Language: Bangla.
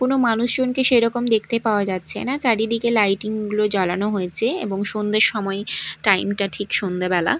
কোনো মানুষজনকে সেই রকম দেখতে পাওয়া যাচ্ছে না চারিদিকে লাইটিং গুলো জ্বালানো হয়েছে এবং সন্ধের সময়ই টাইম - টা ঠিক সন্ধ্যে বেলা।